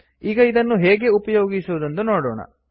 ಈಗ ಇದನ್ನು ಹೇಗೆ ಉಪಯೋಗಿಸುವುದೆಂದು ನೋಡೋಣ